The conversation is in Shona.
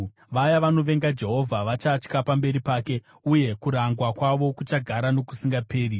Vaya vanovenga Jehovha vachatya pamberi pake, uye kurangwa kwavo kuchagara nokusingaperi.